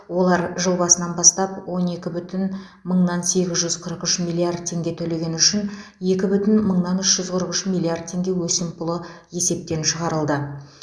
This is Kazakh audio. олар жыл басынан бастап он екі бүтін мыңнан сегіз жүз қырық үш миллиард теңге төлегені үшін екі бүтін мыңнан үш жүз қырық үш миллиард теңге өсімпұлы есептен шығарылды